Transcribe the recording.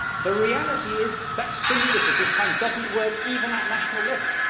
The reality is that stimulus of this kind does not work, even at national level.